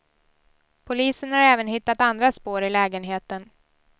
Polisen har även hittat andra spår i lägenheten.